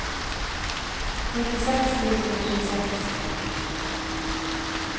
nittiseks tusen og tjueseks